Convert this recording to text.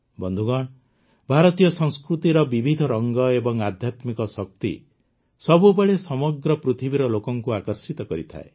ବନ୍ଧୁଗଣ ଭାରତୀୟ ସଂସ୍କୃତିର ବିବିଧ ରଂଗ ଏବଂ ଆଧ୍ୟାତ୍ମିକ ଶକ୍ତି ସବୁବେଳେ ସମଗ୍ର ପୃଥିବୀର ଲୋକଙ୍କୁ ଆକର୍ଷିତ କରିଥାଏ